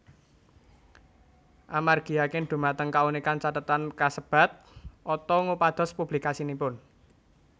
Amargi yakin dhumateng kaunikan cathetan kasebat Otto ngupados publikasinipun